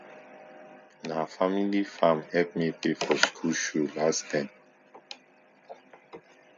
na family farm help me pay for school shoe last term